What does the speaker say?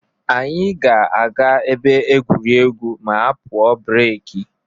Anyị ga-aga ebe egwuregwu ma a pụọ breki.